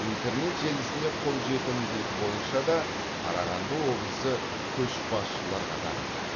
интернет желісіне қолжетімділік бойынша да қарағанды облысы көшбасшылар қатарында